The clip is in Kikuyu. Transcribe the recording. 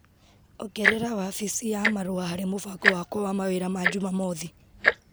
Ongerera wabici ya marũa harĩ mũbango wakwa wa mawĩra ma jumamothi.